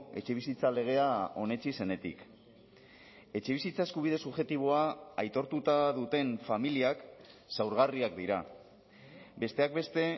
etxebizitza legea onetsi zenetik etxebizitza eskubide subjektiboa aitortuta duten familiak zaurgarriak dira besteak beste